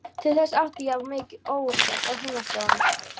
Til þess átti ég of mikið óuppgert á heimaslóðum.